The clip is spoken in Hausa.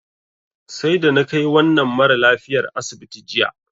Sai da na kai wannan maralafiyar asibiti jiya.